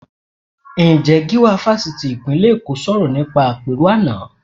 Ǹjẹ́ Gíwá Fásitì ìpínlẹ̀ Èkó sọ̀rọ̀ níbi àpérò àná?